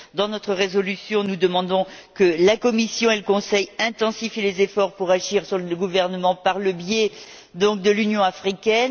Dans notre résolution, nous demandons que la Commission et le Conseil intensifient les efforts pour faire pression sur le gouvernement par le biais de l'Union africaine.